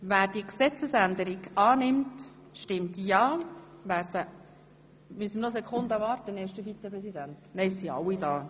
Wer diese Gesetzesänderung annimmt, stimmt ja, wer sie ablehnt, stimmt nein.